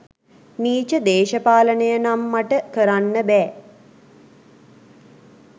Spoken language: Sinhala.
නීච දේශපාලනය නම් මට කරන්න බෑ.